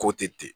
Ko tɛ ten